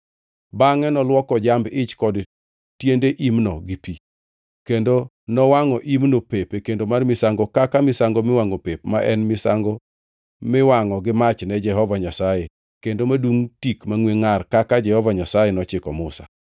Bangʼe nolwoko jamb-ich kod tiende imno gi pi, kendo nowangʼo imno pep e kendo mar misango kaka misango miwangʼo pep, ma en misango miwangʼo gi mach ne Jehova Nyasaye kendo madungʼ tik mangʼwe ngʼar kaka Jehova Nyasaye nochiko Musa.